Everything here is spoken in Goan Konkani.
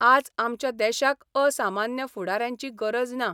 आज आमच्या देशाक असामान्य फुडाऱ्यांची गरज ना.